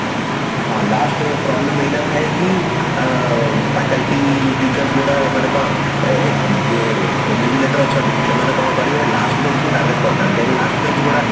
ହଁ last କୁ problem ଏଇଟା ଥାଏ କି ଅ faculty teachers ଗୁଡା ମାନେ କଣ ଏ ଏ ଯେ ଅଛନ୍ତି ସେମାନେ କଣ କରିବେ last bench କୁ target କରିଥାନ୍ତି କାହିଁକି last bench ଗୁଡା